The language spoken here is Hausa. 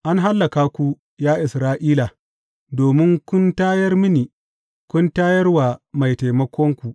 An hallaka ku, ya Isra’ila, domin kun tayar mini, kun tayar wa mai taimakonku.